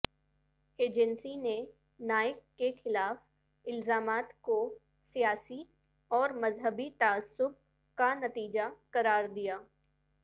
agency نے نائک کے خلاف الزامات کو سیاسی اور مذہبی تعصب کا نتیجہ قراردیا